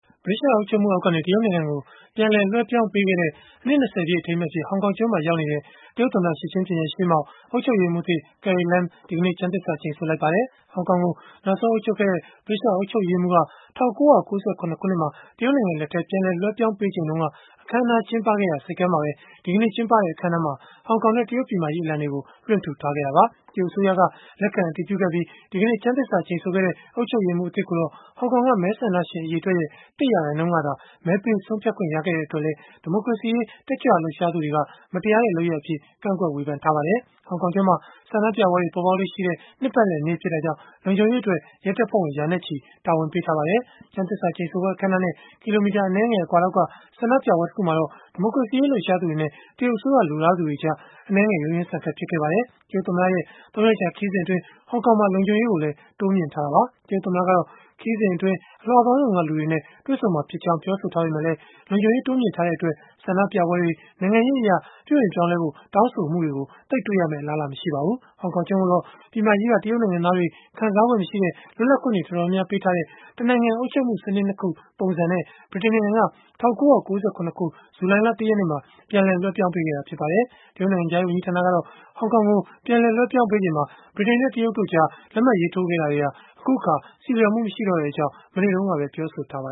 ဗြိတိသျှအုပ်ချုပ်မှုအောက်ကနေ တရုတ်နိုင်ငံကို ပြန်လည်လွဲှပြောင်းပေးခဲ့တဲ့ အနှစ် ၂၀ ပြည့် အထိမ်းအမှတ်အဖြစ် ဟောင်ကောင်ကျွန်းမှာ ရောက်ရှိနေတဲ့ တရုတ်သမ္မတ Xi Jinping ရဲ့ ရှေ့မှောက်၊ အုပ်ချုပ်ရေးမှူးသစ် Carrie Lam ဒီကနေ့ ကျမ်းသစ္စာ ကျိန်ဆိုခဲ့ပါတယ်။ ဟောင်ကောင်ကို နောက်ဆုံးအုပ်ချုပ်ခဲ့တဲ့ ဗြိတိသျှအုပ်ချုပ်ရေးမှူးက ၁၉၉၇ ခုနှစ်မှာ တရုတ်နိုင်ငံလက်ထဲ ပြန်လည် လွဲှပြောင်းပေးချိန်တုန်းက အခန်းအနားကျင်းပခဲ့ရာ ဆိပ်ကမ်းမှာပဲ ဒီကနေ့ ကျင်းပတဲ့ အခန်းအနားမှာတော့ ဟောင်ကောင်နဲ့ တရုတ်ပြည်မကြီး အလံတွေကို လွှင့်ထူထားခဲ့တာပါ။ တရုတ်အစိုးရက လက်ခံအတည်ပြုခဲ့ပြီး ဒီကနေ့ ကျမ်းသစ္စာကျိန်ဆိုခဲ့တဲ့ အုပ်ချုပ်ရေးမှူးသစ်ကိုတော့ ဟောင်ကောင်က မဲဆန္ဒရှင်အရေအတွက်ရဲ့ ၁ ရာခိုင်နှုန်းကသာ မဲပေးဆုံးဖြတ်ခွင့် ရခဲ့တဲ့အတွက်လည်း ဒီမိုကရေစီရေး တက်ကြွလှုပ်ရှားသူတွေက မတရားတဲ့ လုပ်ရပ်အဖြစ် ကန့်ကွက်ဝေဖန်ခဲ့ကြပါတယ်။ ဟောင်ကောင်ကျွန်းမှာ ဆန္ဒပြပွဲတွေ ပေါ်ပေါက်လေ့ရှိတဲ့ နှစ်ပတ်လည်နေ့ ဖြစ်တာကြောင့် လုံခြုံရေးအတွက် ရဲတပ်ဖွဲ့ဝင် ရာနဲ့ချီတာဝန်ပေးထားပါတယ်။ ကျမ်းသစ္စာကျိန်ဆိုပွဲ အခန်းအနားနဲ့ ကီလိုမီတာ အနည်းငယ်အကွာလောက်က ဆန္ဒပြပွဲတခုမှာတော့ ဒီမိုကရေစီရေးလှုပ်ရှားသူတွေနဲ့ တရုတ်အစိုးရလိုလားသူတွေကြား အနည်းငယ်ရုန်းရင်းဆန်ခတ် ဖြစ်ခဲ့ပါတယ်။ တရုတ်သမ္မတရဲ့ ၃ ရက်ကြာ ခရီးစဉ်အတွက် ဟောင်ကောင်မှာ လုံခြုံရေးကိုလည်း တိုးမြှင့်ထားတာပါ။ တရုတ်သမ္မတကတော့ ခရီးစဉ်အတွင်း အလွှာပေါင်းစုံက လူတွေနဲ့ တွေ့ဆုံမှာဖြစ်ကြောင်း ပြောဆိုထားပေမဲ့လည်း လုံခြုံရေး တိုးမြှင့်ထားတဲ့အတွက် ဆန္ဒပြပွဲတွေ၊ နိုင်ငံရေးအရ ပြုပြင်ပြောင်းလဲဖို့ တောင်းဆိုမှုတွေကိုတော့ သိပ်တွေ့ရမယ့် အလားအလာ မရှိပါဘူး။ ဟောင်ကောင်ကျွန်းကိုတော့ ပြည်မကြီးက တရုတ်နိုင်ငံသားတွေ ခံစားခွင့်မရှိတဲ့ လွတ်လပ်ခွင့်တွေ တော်တော်များများ ပေးထားတဲ့ တနိုင်ငံ အုပ်ချုပ်မှုစနစ် ၂ ခု ပုံစံနဲ့ ဗြိတိန်နိုင်ငံက ၁၉၉၇ ခုနှစ် ဇူလိုင်လ ၁ ရက်နေ့မှာ ပြန်လည်လွဲှပြောင်းပေးခဲ့တာ ဖြစ်ပါတယ်။ တရုတ်နိုင်ငံခြားရေး ဝန်ကြီးဌာနကတော့ ဟောင်ကောင်ကို ပြန်လည်လွဲှပြောင်းပေးချိန်မှာ ဗြိတိန်နဲ့ တရုတ်နိုင်ငံတို့ကြား လက်မှတ်ရေးထိုးခဲ့တာတွေဟာ အခုအခါ ဆီလျော်မှု မရှိတော့တဲ့အကြောင်း မနေ့တုန်းကပဲ ပြောဆိုထားပါ